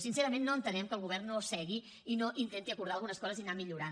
sincerament no entenem que el govern no s’assegui i no intenti acordar algunes coses i anar millorant